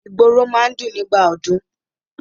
Ìgboro máa ń dùn nígbà ọdún.